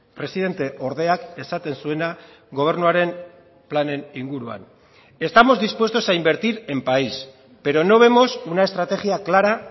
presidente ordeak esaten zuena gobernuaren planen inguruan estamos dispuestos a invertir en país pero no vemos una estrategia clara